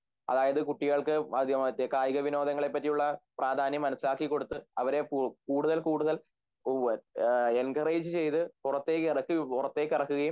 അതായത് കുട്ടികൾക്ക് കായികവിനോദങ്ങളെപ്പറ്റിയുള്ള പ്രാധാന്യം മനസ്സിലാക്കി കൊടുത്ത് അവരെ കൂടുതൽ കൂടുതൽ എങ്കറേജ് ചെയ്‌ത്‌ പുറത്തേക്കിറക്കുകയും